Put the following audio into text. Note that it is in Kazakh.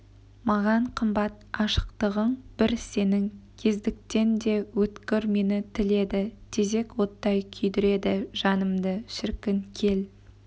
маған қымбат ашықтығың бір сенің кездіктен де өткір мені тіледі тезек оттай күйдіреді жанымды шіркін кел